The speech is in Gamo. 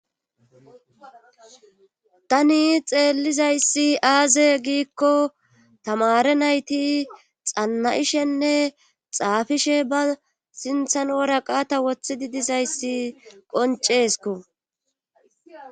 Tani xeellizayssi aaze giikko tamare nayti xanna'ishenne xaafishe ba sinthan ora qaata woththidi dizayssi qoncesko.